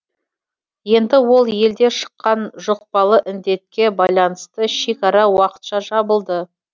енді ол елде шыққан жұқпалы індетке байланысты шекара уақытша жабылды